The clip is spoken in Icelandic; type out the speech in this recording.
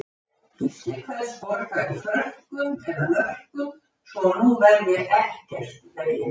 Gísli kveðst borga í frönkum eða mörkum svo að nú verði ekkert í veginum.